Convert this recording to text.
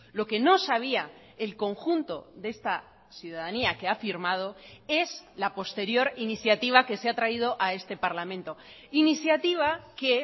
lo que no sabía el conjunto de esta ciudadanía que ha firmado es la posterior iniciativa que se ha traído a este parlamento iniciativa que